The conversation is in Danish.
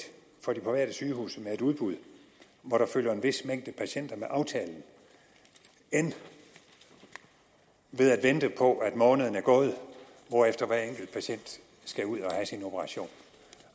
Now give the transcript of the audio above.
for de private sygehuse med et udbud hvor der følger en vis mængde patienter med aftalen end ved at vente på at måneden er gået hvorefter hver enkelt patient skal ud og have sin operation